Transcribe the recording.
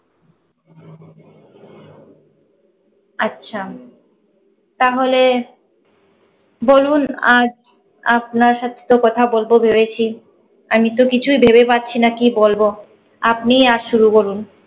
আচ্ছা, তাহলে বলুন আজ আপনার সাথে তো কথা বলতে রয়েছি। আমি তো কিছু ভেবে পাচ্ছিনা কি বলবো। আপনি আজ শুরু করুন।